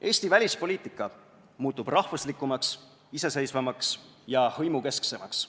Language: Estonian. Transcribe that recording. Eesti välispoliitika muutub rahvuslikumaks, iseseisvamaks ja hõimukesksemaks.